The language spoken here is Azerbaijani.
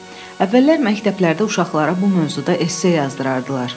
Əvvəllər məktəblərdə uşaqlara bu mövzuda esse yazdırardılar.